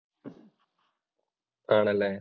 ആണല്ലെ.